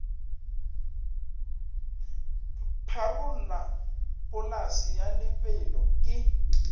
pharola polase ya lebelo ke